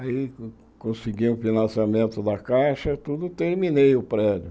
Aí consegui o financiamento da caixa, tudo, terminei o prédio.